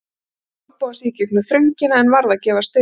Reyndi að olnboga sig í gegnum þröngina en varð að gefast upp.